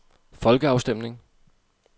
folkeafstemning